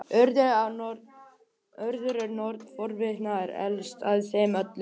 Urður er norn fortíðar og elst af þeim öllum.